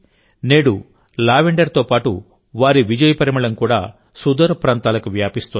నేడు లావెండర్తో పాటు వారి విజయ పరిమళం కూడా సుదూరప్రాంతాలకు వ్యాపిస్తోంది